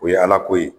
O ye ala ko ye